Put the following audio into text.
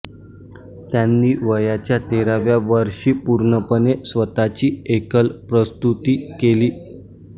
त्यांनी वयाच्या तेराव्या वर्षी पूर्णपणे स्वतःची एकल प्रस्तुती केली